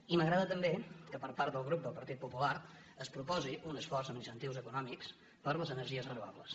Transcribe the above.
i m’agrada també que per part del grup del partit po·pular es proposi un esforç amb incentius econòmics per a les energies renovables